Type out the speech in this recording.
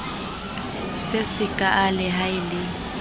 se sekaale ha e le